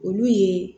Olu ye